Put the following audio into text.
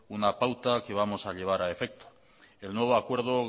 una pauta que vamos a llevar a efecto el nuevo acuerdo